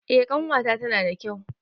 Eh ƙanwata tana da kyau.